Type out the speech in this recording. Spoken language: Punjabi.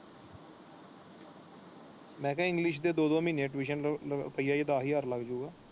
ਮੈਂ ਕਹਿਆ ਇੰਗਲਿਸ਼ ਦੇ ਦੋ ਦੋ ਮਹੀਨੇ ਮਹੀਨੇ ਟਿਊਸ਼ਨ ਰੁਪਈਆ ਦੱਸ ਹਾਜਰ ਲੱਗ ਜਾਏ।